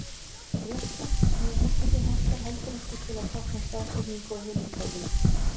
Rétthyrnt hnitakerfi hentar heldur ekki til að tákna staðsetningu á himinhvolfinu.